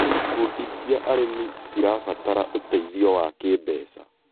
Ikundi cia arĩmi cirabatara ũteithio wa kĩmbeca.